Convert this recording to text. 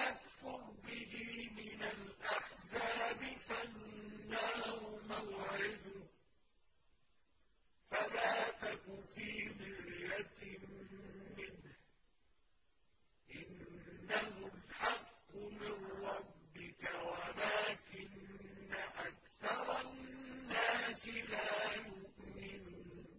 يَكْفُرْ بِهِ مِنَ الْأَحْزَابِ فَالنَّارُ مَوْعِدُهُ ۚ فَلَا تَكُ فِي مِرْيَةٍ مِّنْهُ ۚ إِنَّهُ الْحَقُّ مِن رَّبِّكَ وَلَٰكِنَّ أَكْثَرَ النَّاسِ لَا يُؤْمِنُونَ